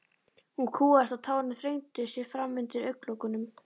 Hún kúgaðist og tárin þrengdu sér fram undir augnalokunum.